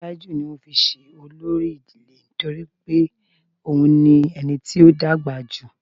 Tájú ní wọn fí se olori idile nitori pe òun ni ení tí ọ dàgbà jú